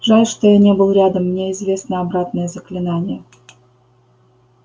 жаль что я не был рядом мне известно обратное заклинание